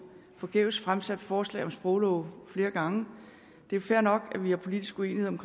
forgæves fremsat forslag om sproglove flere gange det er fair nok at vi har politisk uenighed om